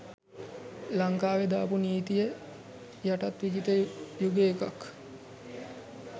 ලංකාවෙ දාපු නීතිය යටත් විජිත යුගේ එකක්